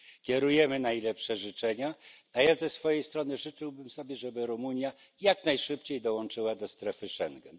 Kierujemy najlepsze życzenia, a ja ze swojej strony życzyłbym sobie, żeby Rumunia jak najszybciej dołączyła do strefy Schengen.